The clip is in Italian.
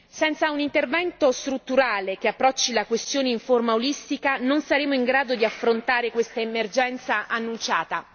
Senza un intervento strutturale che approcci la questione in forma olistica non saremo in grado di affrontare questa emergenza annunciata.